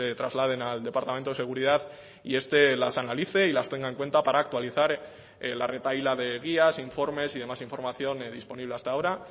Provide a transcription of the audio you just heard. trasladen al departamento de seguridad y este las analice y las tenga en cuenta para actualizar la retahíla de guías informes y demás información disponible hasta ahora